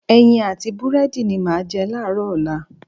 Ẹyin àti búrẹ́dì ni màá jẹ láàárọ̀ ọ̀la.